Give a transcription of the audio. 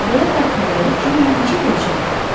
Belə bədxəbəri Cimmeyə necə deyəcəkdi?